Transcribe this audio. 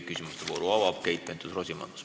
Küsimuste vooru avab Keit Pentus-Rosimannus.